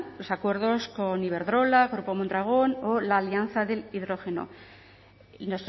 los acuerdos con iberdrola grupo mondragón o la alianza del hidrógeno y